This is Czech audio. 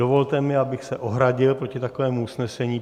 Dovolte mi, abych se ohradil proti takovému usnesení.